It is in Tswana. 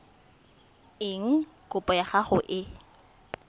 eng kopo ya gago e